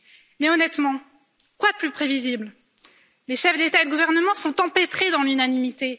Mais honnêtement, quoi de plus prévisible? Les chefs d'État et de gouvernement sont empêtrés dans l'unanimité